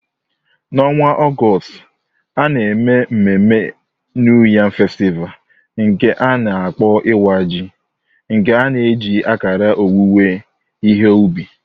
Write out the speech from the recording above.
N'ọnwa Ọgọst, a na-eme mmemme New Yam Festival, nke a na-akpọ Iwa Ji, nke na-eji akara owuwe ihe ubi.